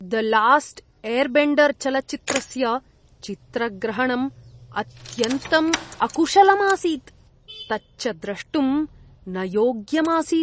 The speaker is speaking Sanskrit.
द लास्ट् एर्बेण्डर् चलच्चित्रस्य चित्रग्रहणम् अत्यन्तम् अकुशलम् आसीत्, तच्च द्रष्टुं न योग्यम् आसीत्।